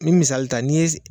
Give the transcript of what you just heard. N'i misali ta n'i ye